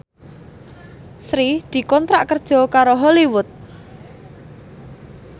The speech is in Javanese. Sri dikontrak kerja karo Hollywood